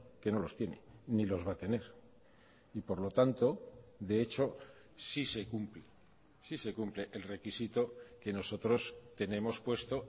que no los tiene ni los va a tener y por lo tanto de hecho sí se cumple sí se cumple el requisito que nosotros tenemos puesto